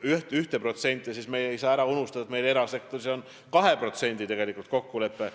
1%, siis me ei saa ära unustada, et erasektoris on 2% kokkulepe.